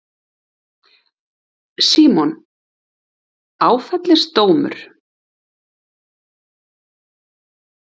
Símon: Áfellisdómur?